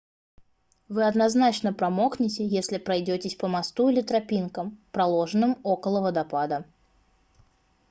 вы однозначно промокнёте если пройдётесь по мосту или тропинкам проложенным около водопада